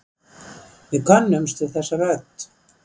Við könnumst við þessa rödd.